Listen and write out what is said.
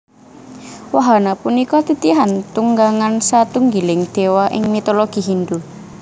Wahana punika titihan tunggangan satunggiling Déwa ing mitologi Hindhu